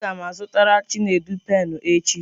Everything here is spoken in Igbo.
A ga m azụtara Chinedu penụ echi.